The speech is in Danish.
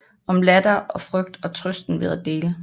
Om latter og frygt og trøsten ved at dele